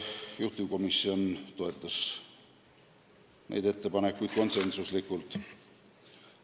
Juhtivkomisjon toetas neid ettepanekuid konsensusega.